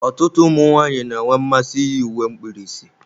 Ọtụtụ ụmụ nwanyị na-enwe mmasị iyi uwe mkpirisi.